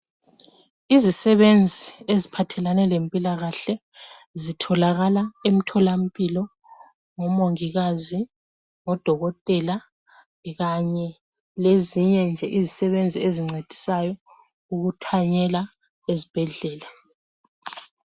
Izisebenzi eziphathelane lemphilakahle, zitholakala emtholamphilo, ngumongikazi, ngodokotela, kanye lezinyenje izisebenzi ezincedisayo ukuthanyela esibhedlela.